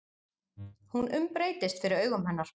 Hún umbreytist fyrir augum hennar.